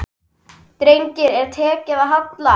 Degi er tekið að halla.